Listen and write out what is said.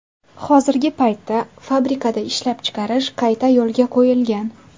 Hozirgi paytda fabrikada ishlab chiqarish qayta yo‘lga qo‘yilgan.